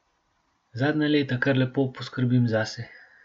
Zadnja leta kar lepo poskrbim zase.